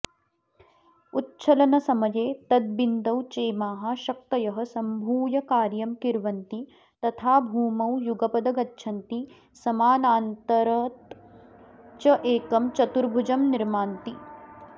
उच्छलनसमये तदबिन्दौ चेमाः शक्तयः सम्भूय कार्यं किर्वन्ति तथा भूमौ युगपद गच्छन्ति समानान्तरञ्चैकं चतुर्भुजं निर्मान्ति